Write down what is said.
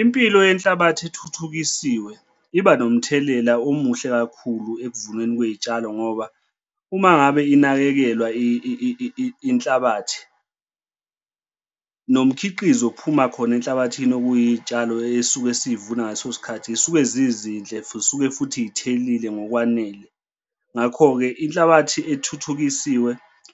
Impilo yenhlabathi ethuthukisiwe iba nomthelela omuhle kakhulu ekuvuneni kwey'tshalo ngoba uma ngabe inakekelwa inhlabathi nomkhiqizo, ophuma khona enhlabathini ukuyiy'tshalo esuka siy'vuna ngaleso sikhathi zisuke zizinhle zisuke futhi y'thelile ngokwanele. Ngakho-ke inhlabathi ethuthukisiwe,